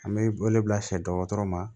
An bɛ wele bila sɛ dɔgɔtɔrɔ ma